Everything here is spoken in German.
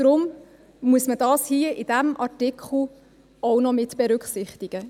Deshalb muss man es hier in diesem Artikel auch noch mitberücksichtigen.